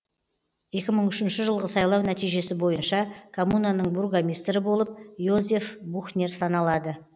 екі мың үшінші жылғы сайлау нәтижесі бойынша коммунаның бургомистрі болып йозеф бухнер саналады